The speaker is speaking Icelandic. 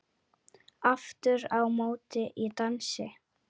Aftur á móti í dansi.